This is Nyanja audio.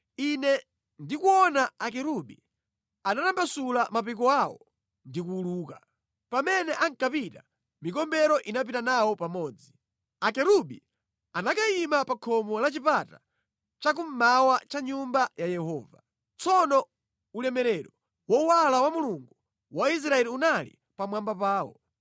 Ine ndikuona akerubi, anatambasula mapiko awo ndi kuwuluka. Pamene ankapita, mikombero inapita nawo pamodzi. Akerubi anakayima pa khomo la chipata cha kummawa cha Nyumba ya Yehova. Tsono ulemerero wowala wa Mulungu wa Israeli unali pamwamba pawo.